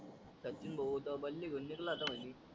सचिन भाऊत बल्ली घेउन निघाला आता वाहिनी.